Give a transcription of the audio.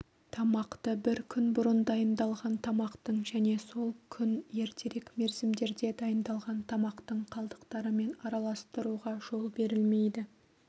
тамақты бір күн бұрын дайындалған тамақтың және сол күн ертерек мерзімдерде дайындалған тамақтың қалдықтарымен араластыруға жол берілмейді